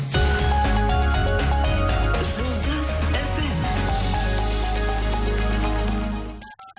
жұлдыз эф эм